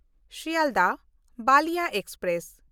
Sealdah Ballia express